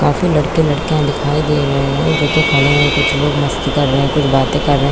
काफी लड़के लड़किया दिखाई दे रहे है कुछ खड़े है कुछ लोग मस्ती कर रहे है कुछ लोग बाते कर रहे है।